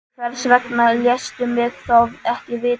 En hvers vegna léstu mig þá ekki vita?